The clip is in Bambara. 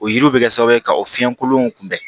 O yiriw bɛ kɛ sababu ye ka o fiɲɛ kolonw kunbɛn